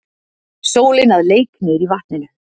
Sólin að leik niðrí vatninu.